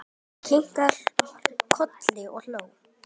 Ég kinkaði kolli og hló.